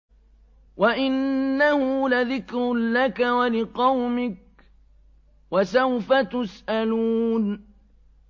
وَإِنَّهُ لَذِكْرٌ لَّكَ وَلِقَوْمِكَ ۖ وَسَوْفَ تُسْأَلُونَ